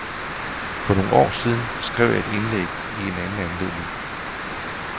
For nogle år siden skrev jeg et indlæg i anden anledning.